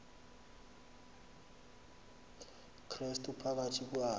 krestu phakathi kwayo